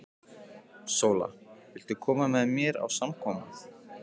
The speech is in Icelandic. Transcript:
SÓLA: Viltu koma með mér á samkomu?